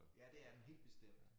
Ja det er den helt bestemt